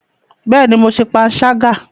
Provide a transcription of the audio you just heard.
Bẹẹni, Mó ṣe panṣaga